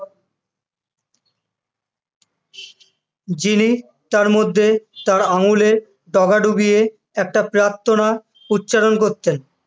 যিনি তার মধ্যে আঙুলের যোগ ডুবিয়ে একটা প্রার্থনা উচ্চারণ করতেন